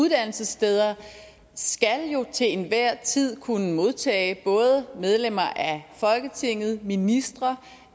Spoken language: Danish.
uddannelsessteder jo til enhver tid kunne modtage både medlemmer af folketinget ministre